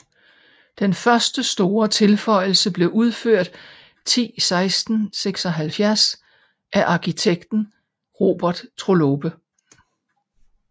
Den første store tilføjelse blev udfør ti 1676 af arkitekten Robert Trollope